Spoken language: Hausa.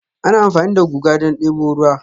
Ana amfani da guga don debo ruwa